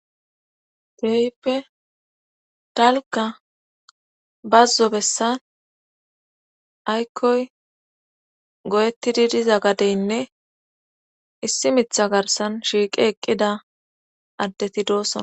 Freyppe talka bazzo bessan aykkoy go'ettidi diza gadeynne issi mitha garsan shiiqe eqqida addeti doosona.